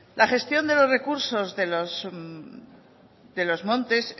la gestión de los recursos de los montes